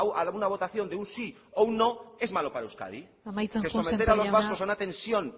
a una votación de un sí o un no es malo para euskadi amaitzen joan sémper jauna que someter a los vascos a una tensión